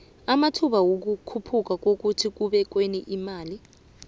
amathba wikukhuphuka ekubekweni kwemali